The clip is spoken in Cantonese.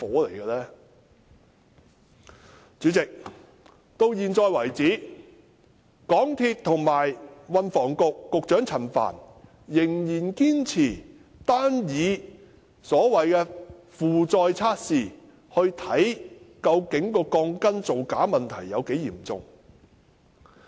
代理主席，至現時為止，港鐵公司及運輸及房屋局陳帆，仍然堅持單以所謂的負載測試，以量度鋼筋造假問題有多嚴重。